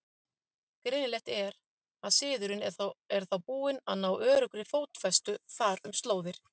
Greinilegt er, að siðurinn er þá búinn að ná öruggri fótfestu þar um slóðir.